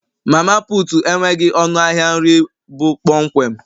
Mama putu enweghị ọnụ ahịa nri bụ kpọmkwem